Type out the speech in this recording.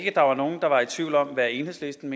enhedslisten